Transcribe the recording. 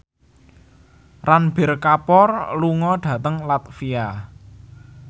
Ranbir Kapoor lunga dhateng latvia